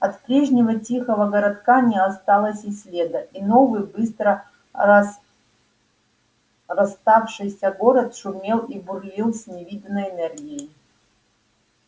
от прежнего тихого городка не осталось и следа и новый быстро разраставшийся город шумел и бурлил с невиданной энергией